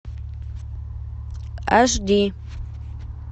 аш ди